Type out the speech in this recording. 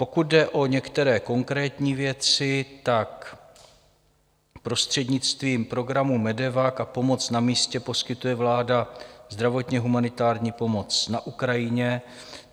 Pokud jde o některé konkrétní věci, tak prostřednictvím programu MEDEVAC a Pomoc na místě poskytuje vláda zdravotně humanitární pomoc na Ukrajině.